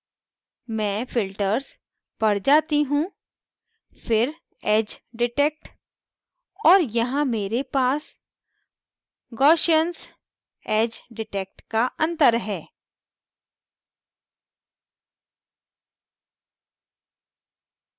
मैं filters पर जाती हूँ फिर edgedetect और यहाँ मेरे पास gaussians edge detect का अंतर है